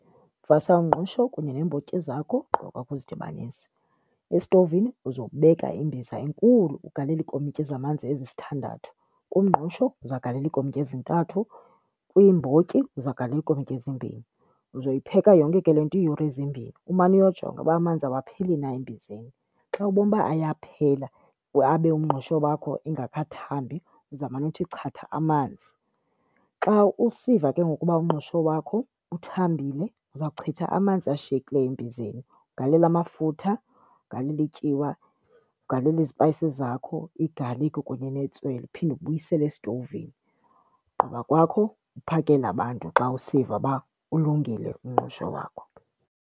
Vasa umngqusho kunye neembotyi zakho ugqiba kwakho uzidibanise, esitovini uzobeka imbiza enkulu ugalele iikomityi zamanzi ezisithandathu. Kumngqusho uzawugalela iikomityi ezintathu, kwiimbotyi uzawugalela iikomityi ezimbini. Uzoyipheka yonke ke le nto iiyure ezimbini, umane uyojonga uba amanzi awapheli na embizeni. Xa ubona uba ayaphela abe umngqusho wakho engakathambi uzawumane uthi chatha amanzi. Xa usiva ke ngoku uba umngqusho wakho uthambile uza kuchitha amanzi ashiyekileyo embizeni ugalele amafutha, ugalele ityiwa, ugalele izipayisi zakho, igalikhi kunye netswele uphinde ubuyisele esitovini. Ugqiba kwakho uphakele abantu xa usiva uba ulungile umngqusho wakho.